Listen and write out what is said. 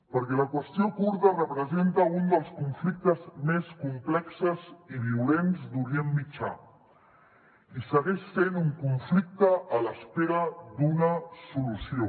perquè la qüestió kurda representa un dels conflictes més complexos i violents d’orient mitjà i segueix sent un conflicte en espera d’una solució